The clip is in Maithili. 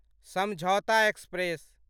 समझौता एक्सप्रेस